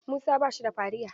Musa ba shi da fariya.